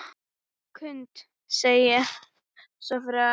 Knud segir svo frá